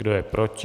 Kdo je proti?